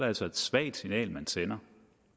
altså et svagt signal man sender